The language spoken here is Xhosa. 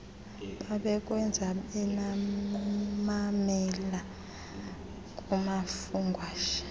babekwenza bamamela kumafungwashe